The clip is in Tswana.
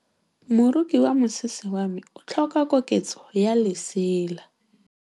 Moroki wa mosese wa me o tlhoka koketsô ya lesela.